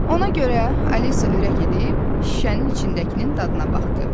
Ona görə Alisa ürək edib, şüşənin içindəkinin dadına baxdı.